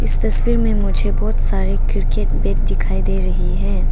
इस तस्वीर में मुझे बहुत सारे क्रिकेट बैट दिखाई दे रही है।